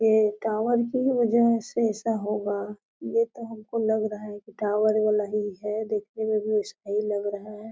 ऐ tower की वजह से ऐसे होगा ये तो हम को लग रहा है टावर वाला ही है देखने में भी अच्छा ही लग रहा है।